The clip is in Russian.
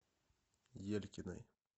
елькиной